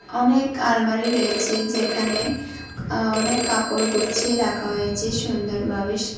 অনেক আলমারি রয়েছে যেখানে আ অনেক কাপড় গুছিয়ে রাখা হয়েছে সুন্দরভাবে সা--